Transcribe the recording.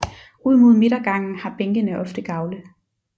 Ud mod midtergangen har bænkene ofte gavle